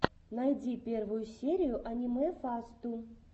найди первую серию аниме фасту